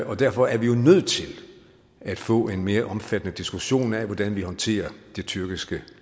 og derfor er vi nødt til at få en mere omfattende diskussion af hvordan vi håndterer det tyrkiske